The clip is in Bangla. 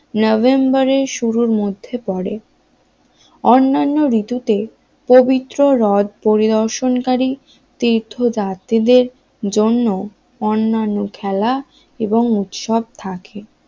নভেম্বরের শুরুর মধ্যে পড়ে অন্যান্য ঋতুতে পবিত্র রদ পরিদর্শনকারী তীর্থ যাত্রীদের জন্য অন্যান্য খেলা এবং উৎসব থাকে